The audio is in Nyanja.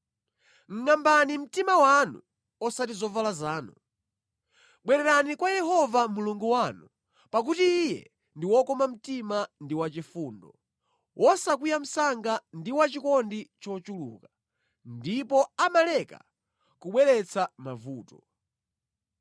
Ngʼambani mtima wanu osati zovala zanu. Bwererani kwa Yehova Mulungu wanu, pakuti Iye ndi wokoma mtima ndi wachifundo, wosakwiya msanga ndi wachikondi chochuluka, ndipo amaleka kubweretsa mavuto.